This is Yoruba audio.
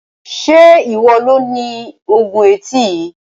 Se iwọ lo ní oògùn etí yìí?